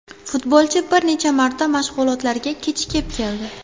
Futbolchi bir necha marta mashg‘ulotlarga kechikib keldi.